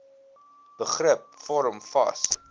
begrip vorm vas